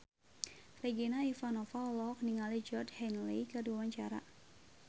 Regina Ivanova olohok ningali Georgie Henley keur diwawancara